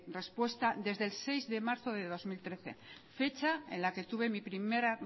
respuesta desde el seis de marzo de dos mil trece fecha en la que tuve mi primera